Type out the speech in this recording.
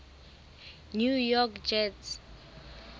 new york jets